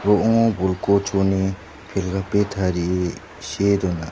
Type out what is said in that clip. ro·ongo pelgape tarie see dona.